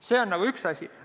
See on üks asi.